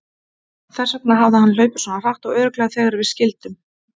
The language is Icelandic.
Þess vegna hafði hann hlaupið svona hratt og örugglega þegar við skildum.